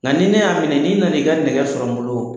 Nka ni ne y'a minɛ n'i nan'i ka nɛgɛ sɔrɔ n bolo